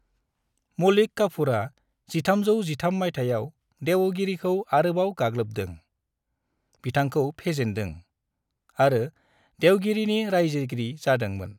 मलिक काफूरआ 1313 मायथाइयाव देवगिरीखौ आरोबाव गाग्लोबदों, बिथांखौ फेजेनदों, आरो देवगिरीनि रायजोगिरि जादों मोन।